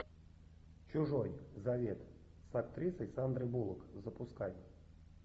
чужой завет с актрисой сандрой буллок запускай